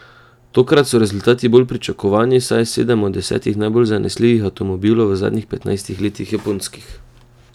Tokrat so rezultati bolj pričakovani, saj je sedem od desetih najbolj zanesljivih avtomobilov v zadnjih petnajstih letih japonskih.